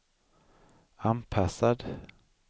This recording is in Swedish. anpassad